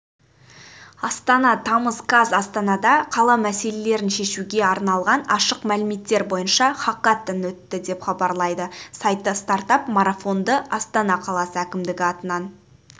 астана тамыз қаз астанада қала мәселелерін шешуге арналған ашық мәліметтер бойынша хакатон өтті деп хабарлайды сайты стартап-марафонды астана қаласы әкімдігі атынан